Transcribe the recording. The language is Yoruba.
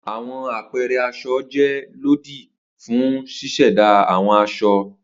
Awọn apẹẹrẹ aṣọ jẹ lodidi fun ṣiṣẹda awọn aṣọ